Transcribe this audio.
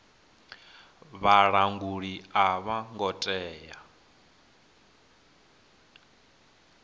vhalanguli a vho ngo tea